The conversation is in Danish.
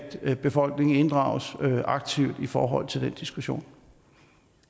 at befolkningen inddrages aktivt i forhold til den diskussion